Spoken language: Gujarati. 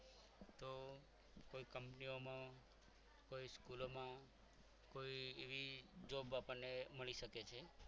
કંપનીઓમાં કોઈ સ્કૂલોમાં કોઈ એવી job આપણને મળી શકે છે.